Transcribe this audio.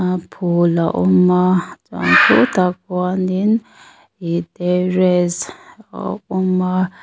a phul a awm a khutah khuanin iihh terrace a awm a.